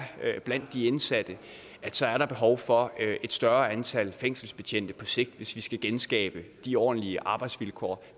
blandt de indsatte er behov for et større antal fængselsbetjente på sigt hvis vi skal genskabe de ordentlige arbejdsvilkår